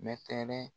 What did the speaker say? Mɛtɛrɛ